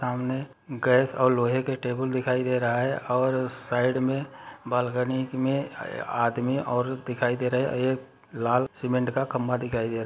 सामने गैस और लोहे के टेबल दिखाई दे रहे है और उस साइड में बालकनी में आदमी औरत दिखाई दे रहे है एक लाल सीमेंट का खम्बा दिखाई दे रहा है।